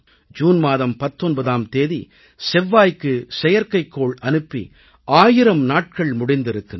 June மாதம் 19ஆம் தேதி செவ்வாய்க்கு செயற்கைக்கோள் அனுப்பி 1000 நாட்கள் முடிந்திருக்கின்றன